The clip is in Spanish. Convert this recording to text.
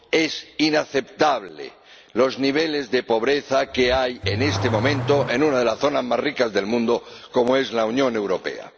Son inaceptables los niveles de pobreza que hay en este momento en una de las zonas más ricas del mundo, como es la Unión Europea.